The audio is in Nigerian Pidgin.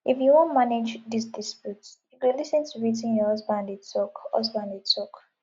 if you wan manage dis dispute you go lis ten to wetin your husband dey tok husband dey tok